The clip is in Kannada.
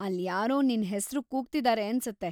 ಅಲ್ಲ್ ಯಾರೋ ನಿನ್ ಹೆಸ್ರು ಕೂಗ್ತಿದಾರೆ ಅನ್ಸತ್ತೆ.